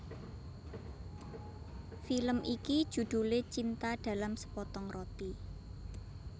Film iki judhulé Cinta dalam Sepotong Roti